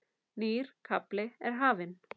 Nýr kafli er hafinn.